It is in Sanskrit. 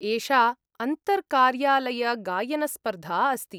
एषा अन्तर्कार्यालयगायनस्पर्धा अस्ति।